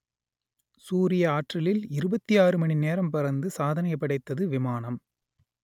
சூரிய ஆற்றலில் இருபத்தி ஆறு மணி நேரம் பறந்து சாதனை படைத்தது விமானம்